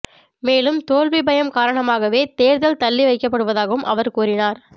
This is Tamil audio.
மேலும் தோல்வி பயம் காரணமாகவே தேர்தல் தள்ளி வைக்கப்படுவதாகவும் அவர் கூறினார்